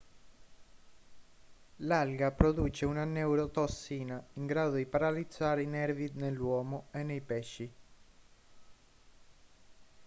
l'alga produce una neurotossina in grado di paralizzare i nervi nell'uomo e nei pesci